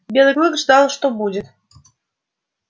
белый клык ждал что будет